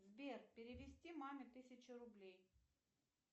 сбер перевести маме тысячу рублей